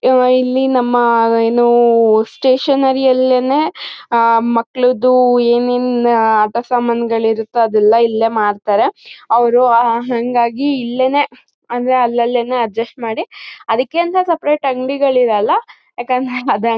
ಈವಾಗ ಇಲ್ಲಿ ನಮ್ಮ ಏನು ಸ್ಟೇಷನೇರಿ ಯಲ್ಲೆನೆ ಮಕ್ಕಳುದು ಏನೇನ್ ಆಟ ಸಮಾನ್ ಗಳಿರ್ತವೆ ಅದನ್ ಇಲ್ಲೇ ಮಾರ್ತರೆ ಅವ್ರು ಹಂಗಾಗಿ ಇಲ್ಲೆನೆ ಅಂದ್ರೆ ಅಲ್ ಅಲ್ಲೇನೇ ಅಡ್ಜಸ್ಟ್ ಮಾಡಿ ಅದಕ್ಕೆ ಅಂಥ ಸೆಪೆರೇಟ್ ಅಂಗ್ಡಿ ಗಳಿರಲ್ಲ.